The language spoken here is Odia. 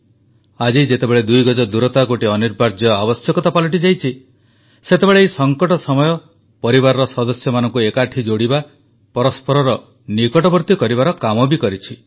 ଆଜି ଯେତେବେଳେ 2 ଗଜ ଦୂରତା ଗୋଟିଏ ଅନିବାର୍ଯ୍ୟ ଆବଶ୍ୟକତା ପାଲଟି ଯାଇଛି ସେତେବେଳେ ଏହି ସଙ୍କଟ ସମୟ ପରିବାରର ସଦସ୍ୟମାନଙ୍କୁ ଏକାଠି ଯୋଡ଼ିବା ପରସ୍ପରର ନିକଟବର୍ତ୍ତୀ କରିବାର କାମ ବି କରିଛି